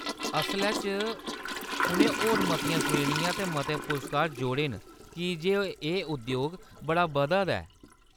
असलै च उʼनें होर मतियां श्रेणियां ते मते पुरस्कार जोड़े न की जे एह् उद्योग बड़ा बधा दा ऐ।